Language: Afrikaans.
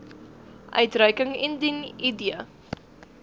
uitreiking indien id